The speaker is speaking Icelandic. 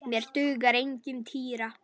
Mér dugar engin týra!